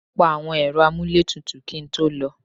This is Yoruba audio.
Mo pa àwọn Ẹ̀rọ amuletutu kí n tó lọ.